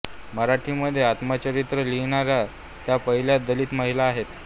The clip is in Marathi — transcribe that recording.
मराठीमध्ये आत्मचरित्र लिहिणाऱ्या त्या पहिल्या दलित महिला आहेत